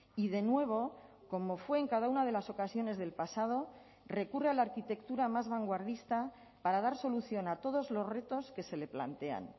y de nuevo como fue en cada una de las ocasiones del pasado recurre a la arquitectura más vanguardista para dar solución a todos los retos que se le plantean